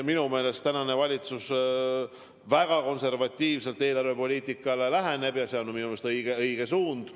Minu meelest läheneb valitsus väga konservatiivselt eelarvepoliitikale ja see on minu meelest õige suund.